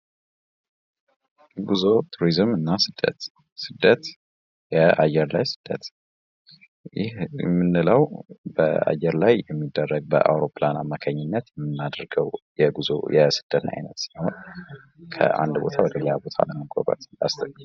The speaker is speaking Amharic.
ጉዞ ፣ ቱሪዝም እና ስደት ፦ ስደት ፦ የአየር ላይ ስደት ፦ይህ የምንለው በአየር ላይ የሚደረግ በአይሮፕላን አማካኝነት የምናደርገው የጉዞ የስደት አይነት ሲሆን ካንድ ቦታ ወደ ሌላ ቦታ ለመጓጓዝ